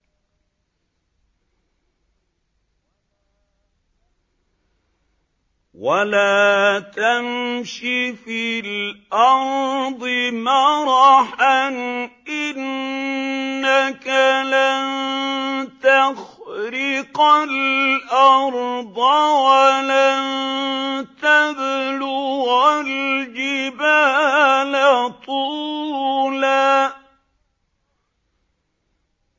وَلَا تَمْشِ فِي الْأَرْضِ مَرَحًا ۖ إِنَّكَ لَن تَخْرِقَ الْأَرْضَ وَلَن تَبْلُغَ الْجِبَالَ طُولًا